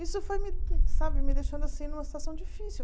Isso foi me sabe me deixando assim numa situação difícil.